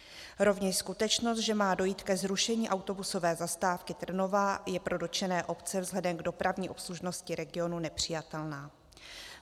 Rovněž skutečnost, že má dojít ke zrušení autobusové zastávky Trnová, je pro dotčené obce vzhledem k dopravní obslužnosti regionu nepřijatelná.